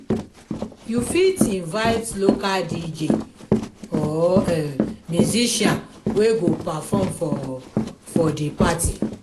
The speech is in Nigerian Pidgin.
you fit invite local dj or musician wey go perform for for di party.